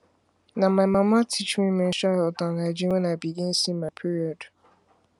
na my mama teach me menstrual health and hygiene when i begin see my period